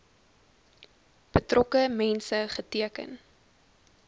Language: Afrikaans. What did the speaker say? betrokke mense geteken